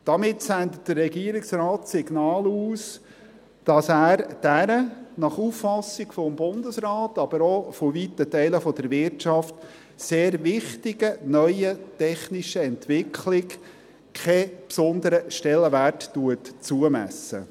Damit sendet der Regierungsrat das Signal aus, dass er dieser – nach Auffassung des Bundesrates, aber auch von weiten Teilen der Wirtschaft – sehr wichtigen neuen technischen Entwicklung keinen besonderen Stellenwert zumisst.